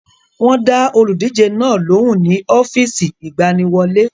Wọ́n dá olùdíje náà lóhùn ní ọ́fíìsì ìgbaniwọlé.